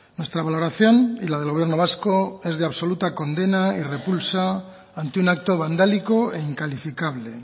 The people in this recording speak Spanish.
nuestra valoración y la del gobierno vasco es de absoluta condena y repulsa ante un acto vandálico e incalificable